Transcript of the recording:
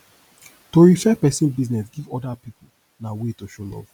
to refer persin business give oda pipo na way to show love